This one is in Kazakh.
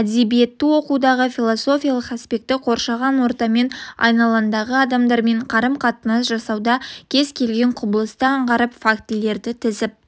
әдебиетті оқытудағы философиялық аспекті қоршаған ортамен айналаңдағы адамдармен қарым-қатынас жасауда кез келген құбылысты аңғарып фактілерді тізіп